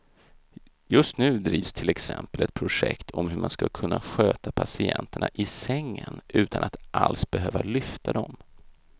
Just nu drivs till exempel ett projekt om hur man ska kunna sköta patienterna i sängen utan att alls behöva lyfta dem.